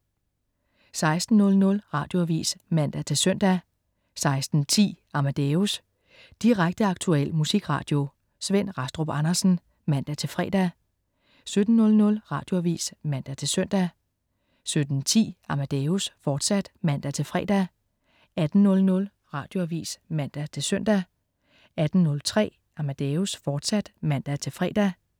16.00 Radioavis (man-søn) 16.10 Amadeus. Direkte, aktuel musikradio. Svend Rastrup Andersen (man-fre) 17.00 Radioavis (man-søn) 17.10 Amadeus, fortsat (man-fre) 18.00 Radioavis (man-søn) 18.03 Amadeus, fortsat (man-fre)